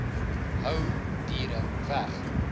hou diere weg